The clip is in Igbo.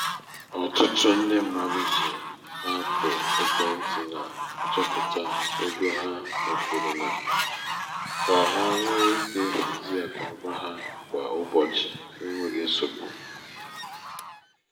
ọtụtụ ndị mmadụ ji apụ ekwentị na-achopụta ego ha mefuru na ka ha nwee ike hazie akụnaụba ha kwa ụbọchị. n'enweghị nsogbu.